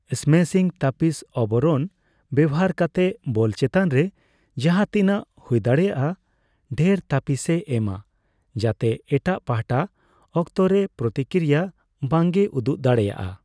Smashing ᱛᱟᱹᱯᱤᱥ ᱛᱵᱚᱨᱚᱱ ᱵᱮᱣᱦᱟᱨ ᱠᱟᱛᱮ ᱵᱚᱞ ᱪᱮᱛᱟᱱ ᱨᱮ ᱡᱟᱦᱟᱸᱛᱤᱱᱟᱹᱜ ᱦᱩᱭᱫᱟᱲᱮᱭᱟᱜᱼᱟ ᱰᱷᱮᱨ ᱛᱟᱹᱯᱤᱥ ᱮ ᱮᱢᱟ ᱡᱟᱛᱮ ᱮᱴᱟᱜ ᱯᱟᱦᱚᱴᱟ ᱚᱠᱛᱚ ᱨᱮ ᱯᱨᱚᱛᱤᱠᱨᱤᱭᱟ ᱵᱟᱝᱮ ᱩᱫᱩᱜ ᱫᱟᱲᱮᱭᱟᱜᱼᱟ ᱾